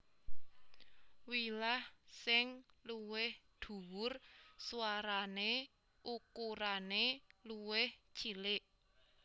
Wilah sing luwih dhuwur swarane ukurane luwih cilik